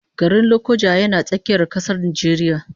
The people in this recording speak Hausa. Garin Lokoja yana tsakiyar kasar Najeriya